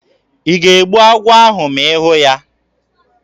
Ị ga-egbu agwọ ahụ ma ị hụ ya?